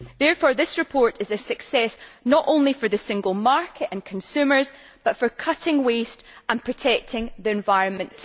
Therefore this report is a success not only for the single market and consumers but also for cutting waste and protecting the environment.